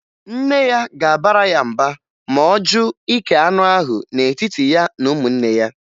Nne ya ga-abara ya mba ma ọ jụ ike anụ ahụ n'etiti ya na ụmụnne ya